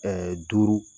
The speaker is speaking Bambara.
Ɛɛ duuru